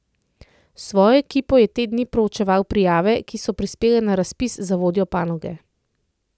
S svojo ekipo je te dni proučeval prijave, ki so prispele na razpis za vodjo panoge.